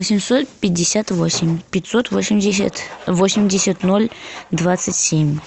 восемьсот пятьдесят восемь пятьсот восемьдесят восемьдесят ноль двадцать семь